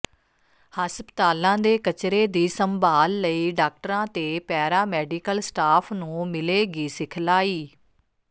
ਹਸਪਤਾਲਾਂ ਦੇ ਕਚਰੇ ਦੀ ਸੰਭਾਲ ਲਈ ਡਾਕਟਰਾਂ ਤੇ ਪੈਰਾ ਮੈਡੀਕਲ ਸਟਾਫ਼ ਨੂੰ ਮਿਲੇਗੀ ਸਿਖਲਾਈ